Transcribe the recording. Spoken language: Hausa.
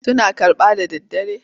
Suna karɓa da daddare?